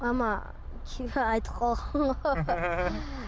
мама айтып қалған ғой